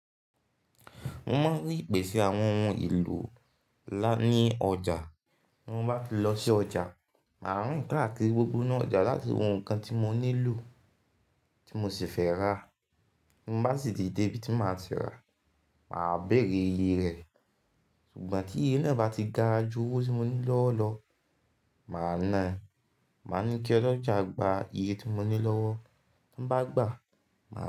Mo máa ń rí ìpèsè àwọn ohun èlò ńlá ní ọjà. Bí mo bá ti lọ sí ọjà, mà á rìn káàkiri gbogbo inú ọjà láti wo nnkan tí mo nílò tí mo sì fẹ́ rà. Bí mo bá sì ti de ibi tí màá ti rà, mà á béèrè iye rẹ̀, ṣùgbọ́n tí iye náà bá ti ga ju owó tí mo ní lọ́wo lọ, mà á nà á. Mà á ní kí ọlọ́jà gba iye tí mo ní lọ́wọ́, tí o bá gbà á, mà á.